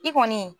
I kɔni